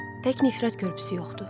Tək nifrət körpüsü yoxdur.